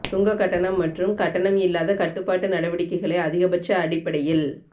சுங்க கட்டணம் மற்றும் கட்டணம் இல்லாத கட்டுப்பாட்டு நடவடிக்கைகளை அதிகபட்ச அடிப்படையில்